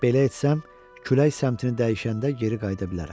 Belə etsəm, külək səmtini dəyişəndə geri qayıda bilərəm.